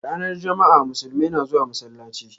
Ranar jama'a, musulmai na zuwa masallaci